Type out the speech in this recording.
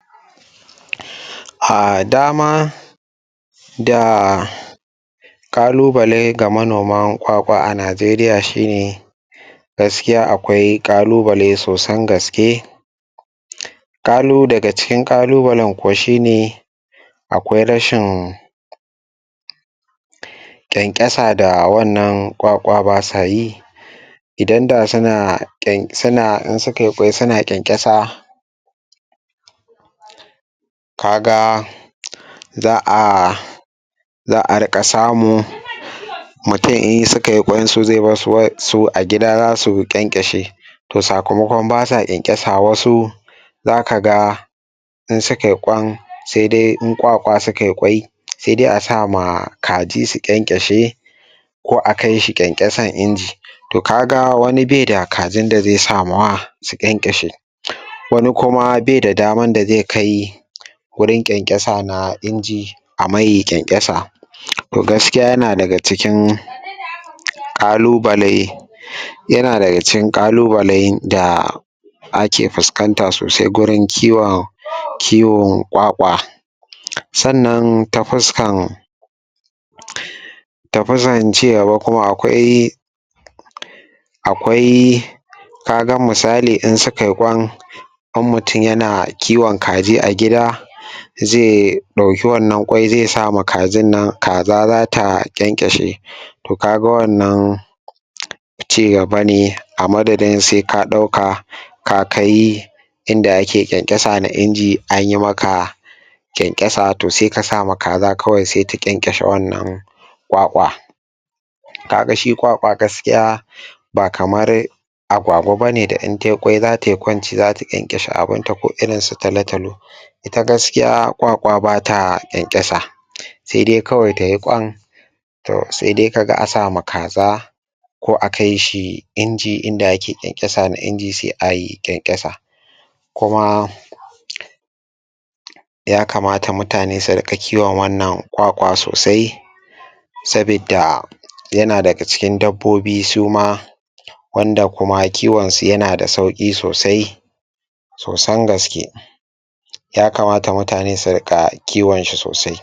A dama da ƙalubale ga manoman ƙwaƙwa a Najeriya shi ne gaskiya akwai ƙwalubalen sosan gaske ɗaya daga cikin ƙalubalen shi ne akwai rashin ƙyanƙyasa da wannan ƙwaƙwa ba sa yi idan da suna in sukai ƙwai suna ƙyanƙyasa ka ga za a za ri ƙa samun mutum in sukai kwansu mutum a gida za a ƙyanƙyashe. to sakamakon ba sa ƙyanƙyasa wasu za ka ga in sukai ƙwan in dai ƙwaƙwa sukai ƙwaai sai dai a sama kaji su ƙyanƙyashe ko a kais hi ƙyanƙyasan inji. To ka ga wani bai da kajin da zai sa mawa su ƙyanƙyashe. wani kuma bai da daman da zai kai wareun ƙyanƙyasa na inji a mai ƙyanƙyansa. gaskiya yana daga cikin ƙalubale yana daga cikin ƙalubalen da ake fuskanta gurin kiwon, kiwon ƙwaƙwa sannan ta fuskan ta fuskan cewa kuma akwai akwai ka ga misali in sukai ƙwan in mutum yana kiwon kaji a gida zai ɗauki wannan ƙwai zai sama kazan na kaza za ta ƙyanƙyashe to ka ga wannan ci gaba ne a madadin sai ka ɗauka ka kai in da ake ƙyanƙyasa na inji an yi maka ƙyanƙyasa to sai ka sa wa kaza tai maka wannan ƙyanƙyasa ka ga shi ƙwaƙwa gaskiya ba kamar agwagwa ba ne da in tai ƙwai za ta ƙyanƙyashe abinta ko irinsu talo-talo ita gaskiya ƙwaƙwa ba ta ƙyanƙyasa sai dai kawai ta yi ƙwan sai dai ka ga a sama kaza ko akai shi inji in da ake ƙyanƙyasa ma inji sai a i ƙyanƙyasa. kuma ya kamata mutane su riƙa kiwon wannan ƙwaƙwa sosai sabidda yana daga cikin dabbobi suma wanda kuma kiwonsu yana da sauƙi sosai sosan gaske ya kamat mutane su riƙa kiwon shi sosai.